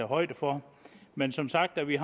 højde for men som sagt har vi